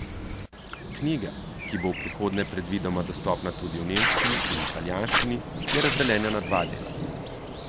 Knjiga, ki bo v prihodnje predvidoma dostopna tudi v nemščini in italijanščini, je razdeljena na dva dela.